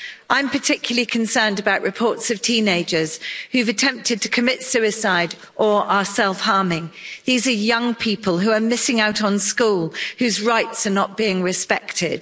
I'm particularly concerned about reports of teenagers who've attempted to commit suicide or are self harming. These are young people who are missing out on school, whose rights are not being respected.